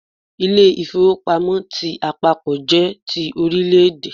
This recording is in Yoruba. Ilé-ìfowópamọ́ ti àpapọ̀ jé ti Orílẹ̀dè